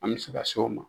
An bɛ se ka se o ma